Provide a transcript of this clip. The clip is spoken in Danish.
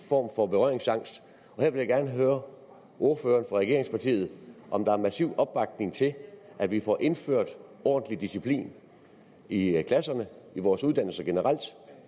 form for berøringsangst her vil jeg gerne høre ordføreren for regeringspartiet om der er massiv opbakning til at vi får indført ordentlig disciplin i klasserne i vores uddannelser generelt